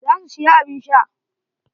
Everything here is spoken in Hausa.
Za su siya abun sha.